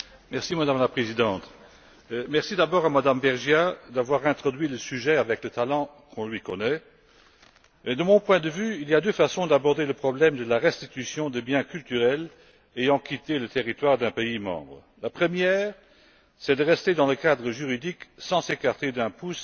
Madame la Présidente, je voudrais tout d'abord remercier MadameVergiat d'avoir introduit le sujet avec le talent qu'on lui connaît mais, de mon point de vue, il y a deux façons d'aborder le problème de la restitution des biens culturels ayant quitté le territoire d'un État membre. La première, c'est de rester dans le cadre juridique, sans s'écarter d'un pouce